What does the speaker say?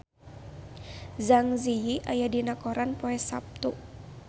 Zang Zi Yi aya dina koran poe Saptu